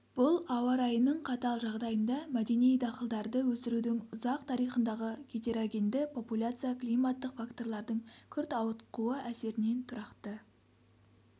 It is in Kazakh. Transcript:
бұл ауа райының қатал жағдайында мәдени дақылдарды өсірудің ұзақ тарихындағы гетерогенді популяция климаттық факторлардың күрт ауытқуы әсерінен тұрақты